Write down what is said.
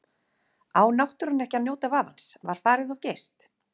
Á náttúran ekki að njóta vafans, var farið of geyst?